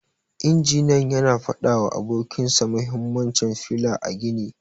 Injiniyan yana fada wa abokin sa mahimmancin fila a gini.